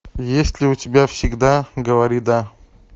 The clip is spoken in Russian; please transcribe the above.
есть ли у тебя всегда говори да